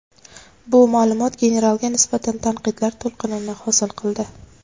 Bu ma’lumot generalga nisbatan tanqidlar to‘lqinini hosil qildi.